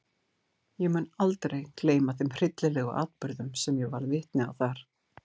Ég mun aldrei gleyma þeim hryllilegu atburðum sem ég varð vitni að þar.